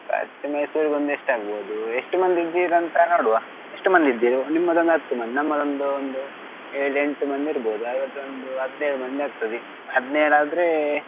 ಖರ್ಚ್ Mysore ಗೊಂದು ಎಸ್ಟಾಗ್ಬೋದು? ಎಷ್ಟು ಮಂದಿ ಇದ್ದಿರಂತ ನೋಡುವ ಎಷ್ಟು ಮಂದಿ ಇದ್ದೀರಿ? ನಿಮ್ಮದೊಂದು ಹತ್ತು ಮಂದಿ ನಮ್ಮದೊಂದು ಒಂದು ಎಳ್ ಎಂಟ್ ಮಂದಿ ಇರ್ಬೋದು. ಹಾಗಾದ್ರೆ ಒಂದು ಹದ್ನೇಳ್ ಮಂದಿ ಆಗ್ತದೇ ಹದ್ನೇಳ್ ಆದ್ರೆ.